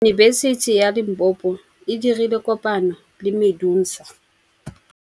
Yunibesiti ya Limpopo e dirile kopanyô le MEDUNSA.